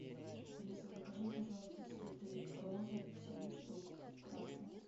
алиса закажи пожалуйста цветы розы семь штук красные